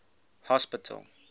hospital